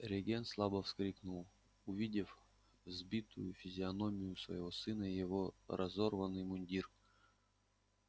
регент слабо вскрикнул увидев сбитую физиономию своего сына и его разорванный мундир